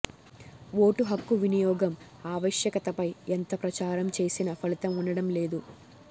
vote హక్కు వినియోగం ఆవశ్యకతపై ఎంత ప్రచారం చేసినా ఫలితం ఉండడం లేదు